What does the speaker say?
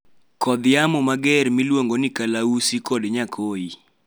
kodh yamo mager mag koth miluongo ni kalausi kod nyakoi